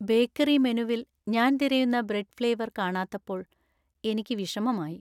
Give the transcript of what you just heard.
Bakery മെനുവിൽ ഞാൻ തിരയുന്ന ബ്രെഡ് ഫ്ലേവർ കാണാത്തപ്പോൾ എനിക്ക് വിഷമമായി .